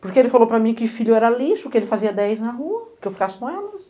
Porque ele falou para mim que filho era lixo, que ele fazia dez na rua, que eu ficasse com elas.